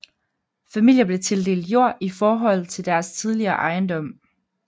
Familier blev tildelt jord i forhold til deres tidligere ejendom